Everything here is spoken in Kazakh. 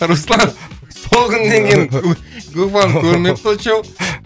руслан сол күннен кейін губаны көрмепті очоу